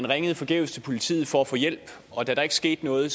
ringede forgæves til politiet for at få hjælp og da der ikke skete noget